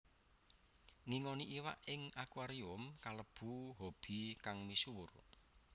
Ngingoni iwak ing akuarium kalebu hobi kang misuwur